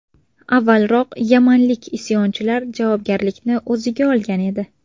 Avvalroq yamanlik isyonchilar javobgarlikni o‘ziga olgan edi.